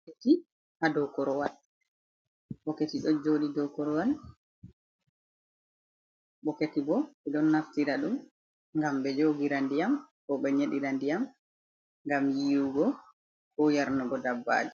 Bokkiti hadow korowal jodi dou korowal bokketi bo be don naftira ɗum ngam be njogira ndiyam bo ɓe nyedira ndiyam ngam yiwugo ko yarnugo dabbaji.